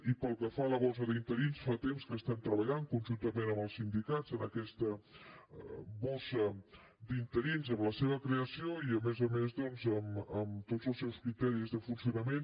i pel que fa a la bossa d’interins fa temps que estem treballant conjuntament amb els sindicats en aquesta bossa d’interins en la seva creació i a més a més doncs en tots els seus criteris de funcionament